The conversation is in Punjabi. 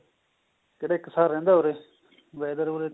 ਕਿਹੜਾ ਇੱਕਸਾਰ ਰਹਿੰਦਾ ਉਰੇ whether ਉਰੇ